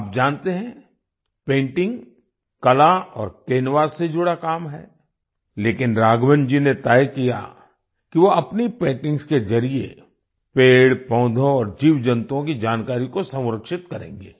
आप जानते हैं पेंटिंग कला और कैनवास से जुड़ा काम है लेकिन राघवन जी ने तय किया कि वो अपनी पेंटिंग्स के जरिए पेड़पौधों और जीव जंतुओं की जानकारी को संरक्षित करेंगे